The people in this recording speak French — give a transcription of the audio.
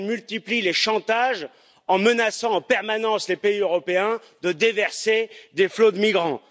Erdogan multiplie les chantages en menaçant en permanence les pays européens de déverser des flots de migrants.